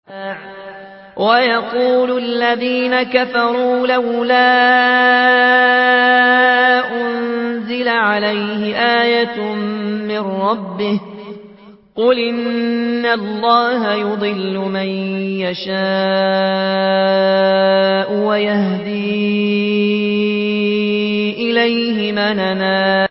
وَيَقُولُ الَّذِينَ كَفَرُوا لَوْلَا أُنزِلَ عَلَيْهِ آيَةٌ مِّن رَّبِّهِ ۗ قُلْ إِنَّ اللَّهَ يُضِلُّ مَن يَشَاءُ وَيَهْدِي إِلَيْهِ مَنْ أَنَابَ